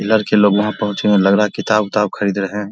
लड़के लोग वहाँ पहुंचे है लग रहा है किताब उताब खरीद रहे है ।